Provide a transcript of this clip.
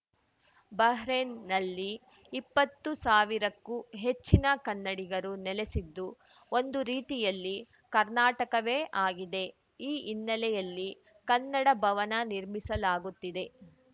ಬಹ್ರೇನ್‌ನಲ್ಲಿ ಇಪ್ಪತ್ತು ಸಾವಿರಕ್ಕೂ ಹೆಚ್ಚಿನ ಕನ್ನಡಿಗರು ನೆಲೆಸಿದ್ದು ಒಂದು ರೀತಿಯಲ್ಲಿ ಕರ್ನಾಟಕವೇ ಆಗಿದೆ ಈ ಹಿನ್ನೆಲೆಯಲ್ಲಿ ಕನ್ನಡ ಭವನ ನಿರ್ಮಿಸಲಾಗುತ್ತಿದೆ